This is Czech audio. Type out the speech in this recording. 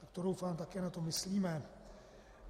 Tak to doufám na to také myslíme.